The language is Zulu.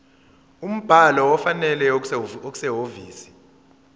umbhalo ofanele okusehhovisi